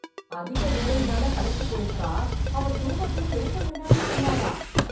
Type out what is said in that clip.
அதிக வேலையினால களைச்சுப் போயிருக்கா, அவ தூங்கட்டும், எழுப்ப வேணாம்னு சொன்னாரா...